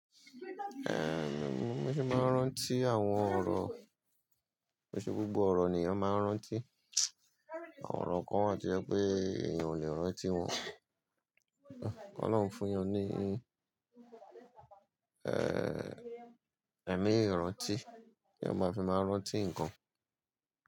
Mo sì máa ń rántí àwọn ọ̀rọ̀, ko n se gbogbo ọ̀rọ̀ ni eyan máa ń rántí. Àwọn ọ̀rọ̀ kan wa to jẹ́ pé èèyàn ò lè rántí wọn. Ọlọ́run fún yan ní, ẹ̀mí ìrántí, kí eyan máa fi máa rántí ǹkan.